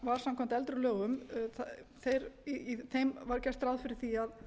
en samkvæmt eldri lögum var gert ráð fyrir því að